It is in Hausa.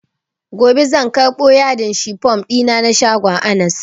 Gobe zan karɓo yadin shifom ɗina na shagon anas